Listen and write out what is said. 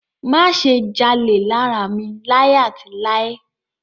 Má ṣe jalè lára mi láì àti láì.